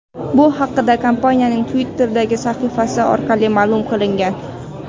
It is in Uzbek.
Bu haqda kompaniyaning Twitter’dagi sahifasi orqali ma’lum qilingan .